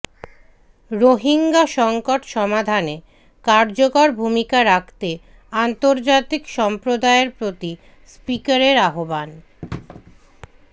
রোহিঙ্গা সংকট সমাধানে কার্যকর ভূমিকা রাখতে আন্তর্জাতিক সম্প্রদায়ের প্রতি স্পিকারের আহ্বান